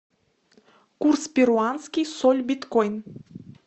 курс перуанский соль биткоин